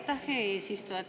Aitäh, hea eesistuja!